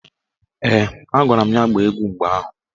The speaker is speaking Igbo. Ee, agwara m ya gbaa egwu mgbe ahụ.